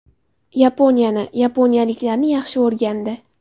Yaponiyani, yaponiyaliklarni yaxshi o‘rgandi.